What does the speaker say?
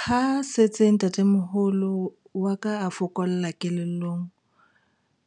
Ha setse ntatemoholo wa ka a fokola kelellong,